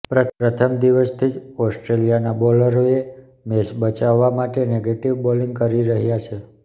પ્રથમ દિવસથી જ ઓસ્ટ્રેલીયાના બોલરોએ મેચ બચાવવા માટે નેગેટીવ બોલીંગ કરી રહ્યાં છે